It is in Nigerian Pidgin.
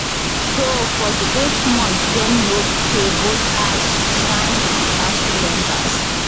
so for di eight months dem no pay both asuu ssanu and nasu members